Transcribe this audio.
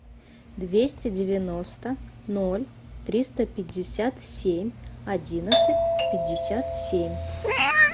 двести девяносто ноль триста пятьдесят семь одиннадцать пятьдесят семь